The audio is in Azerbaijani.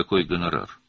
Hansı qonorar?